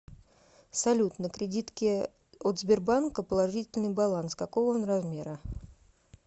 салют на кредитке от сбербанка положительный баланс какого он размера